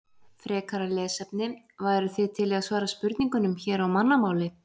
Frekara lesefni: Væruð þið til í að svara spurningunum hér á mannamáli?